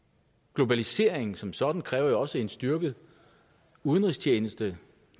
globaliseringen som sådan kræver jo også en styrket udenrigstjeneste